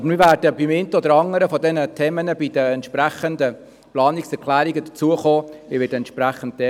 Aber wir werden beim einen oder anderen Thema bei den entsprechenden Planungserklärungen darauf zu sprechen kommen.